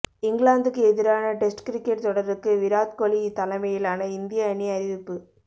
இங்கிலாந்துக்கு எதிரான test cricket தொடருக்கு விராட் கோலி தலைமையிலான இந்திய அணி அறிவிப்பு